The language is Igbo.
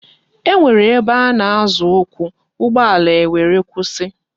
E nwere ebe ana Azo ukwu, ugbo ala e were kwusi